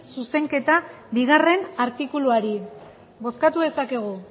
zuzenketa bigarrena artikuluari bozkatu dezakegu